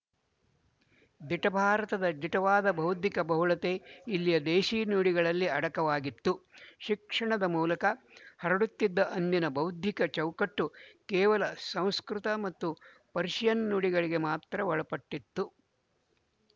ದಿಟ ಭಾರತದ ದಿಟವಾದ ಬೌದ್ಧಿಕ ಬಹುಳತೆ ಇಲ್ಲಿಯ ದೇಶಿ ನುಡಿಗಳಲ್ಲಿ ಅಡಕವಾಗಿತ್ತು ಶಿಕ್ಷಣದ ಮೂಲಕ ಹರಡುತಿದ್ದ ಅಂದಿನ ಬೌದ್ಧಿಕ ಚೌಕಟ್ಟು ಕೇವಲ ಸಂಸ್ಕೃತ ಮತ್ತು ಪರ್ಶಿಯನ್ ನುಡಿಗಳಿಗೆ ಮಾತ್ರ ಒಳಪಟ್ಟಿತ್ತು